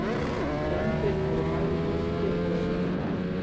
Lömbin eru bæði úti og inni